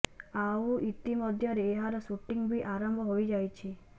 ଆଉ ଇତି ମଧ୍ୟରେ ଏହାର ସୁଟିଂ ବି ଆରମ୍ଭ ହୋଇଯାଇଛି